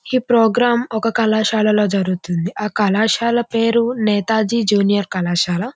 ఈ ప్రోగ్రాం ఒక కళాశాల లో జరుగుతుంది ఆ కళాశాల పేరు నేతాజీ జూనియర్ కళాశాల.